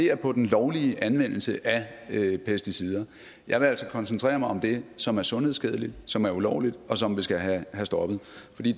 er på den lovlige anvendelse af pesticider jeg vil altså koncentrere mig om det som er sundhedsskadeligt som er ulovligt og som vi skal have stoppet